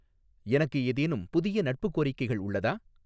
எனக்கு ஏதேனும் புதிய நட்பு கோரிக்கைகள் உள்ளதா